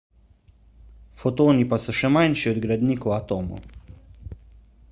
fotoni pa so še manjši od gradnikov atomov